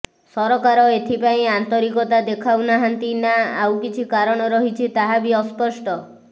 ସରକାର ଏଥିପାଇଁ ଆନ୍ତରିକତା ଦେଖାଉନାହାନ୍ତି ନା ଆଉ କିଛି କାରଣ ରହିଛି ତାହା ବି ଅସ୍ପଷ୍ଟ